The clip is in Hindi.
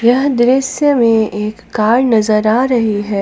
यह दृश्य में एक कार नजर आ रही है।